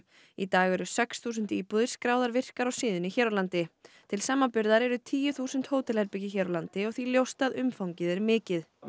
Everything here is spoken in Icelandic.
í dag eru sex þúsund íbúðir skráðar virkar á síðunni hér á landi til samanburðar eru tíu þúsund hótelherbergi hér á landi og því ljóst að umfangið er mikið við